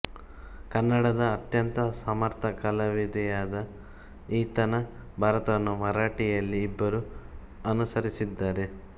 ಕನ್ನಡದ ಅತ್ಯಂತ ಸಮರ್ಥ ಕವಿಯಾದ ಈತನ ಭಾರತವನ್ನು ಮರಾಠಿಯಲ್ಲಿ ಇಬ್ಬರು ಅನುಸರಿಸಿದ್ದಾರೆ